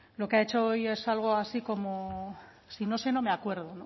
lo que ha hecho hoy es algo así como si no sé no me acuerdo